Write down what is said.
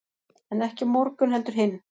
en ekki á morgun heldur hinn